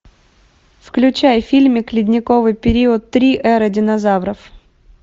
включай фильмик ледниковый период три эра динозавров